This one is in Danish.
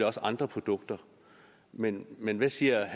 også andre produkter men men hvad siger